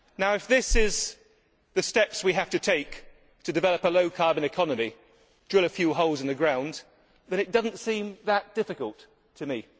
If these are the steps we have to take to develop a low carbon economy drilling a few holes in the ground it does not seem that difficult to me.